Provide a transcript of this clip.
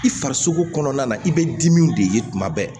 I farisogo kɔnɔna na i bɛ dimiw de ye tuma bɛɛ